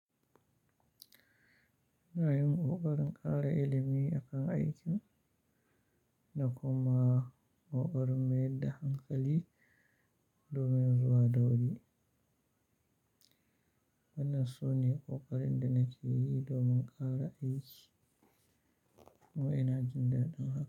Ina yin kokarin ƙara ilimi a kan aiki da kuma kokarin maida hankali domin zuwa da wuri. Wannan su ne, ƙoƙarin da nake yi domin ƙara aiki kuma ina jin dadin haka.